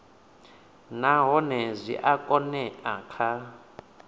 nahone zwi a oea kha